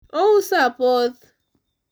ouso apoth